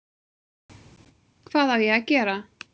Hvað á gera?